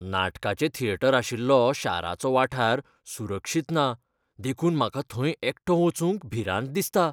नाटकाचें थिएटर आशिल्लो शाराचो वाठार सुरक्षित ना देखून म्हाका थंय एकटो वचूंक भिरांत दिसता.